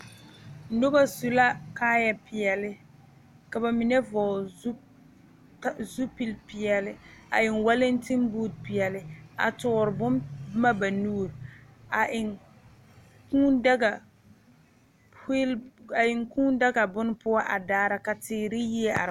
Noba su la kaaya peɛle ka bamine vɔgle zupele ka peɛle a eŋ walante booti peɛle a tuure bon boma ba nuure a eŋ kūū daga wheel a eŋ kūū daga bon poɔ a daare ka teere ne yie a are.